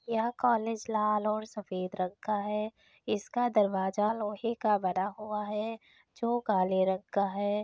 यह कॉलेज लाल और सफेद रंग का है इसका दरवाजा लोहे का बना हुआ है जो काले रंग का है।